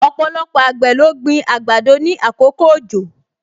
Ọpọlọpọ àgbẹ̀ ló gbin àgbàdo ni àkókò òjò